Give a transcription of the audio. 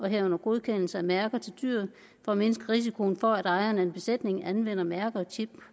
herunder godkendelse af mærker til dyret for at mindske risikoen for at ejeren af en besætning anvender mærker og chip